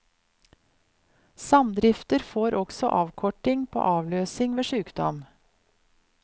Samdrifter får også avkorting på avløsing ved sjukdom.